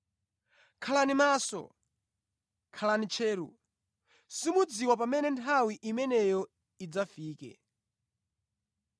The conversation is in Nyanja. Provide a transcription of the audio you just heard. Khalani maso! Khalani tcheru! Simudziwa pamene nthawi imeneyo idzafike.